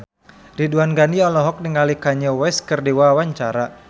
Ridwan Ghani olohok ningali Kanye West keur diwawancara